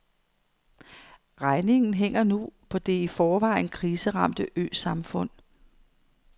Regningen hænger nu på det i forvejen kriseramte øsamfund.